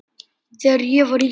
Þegar ég var yngri.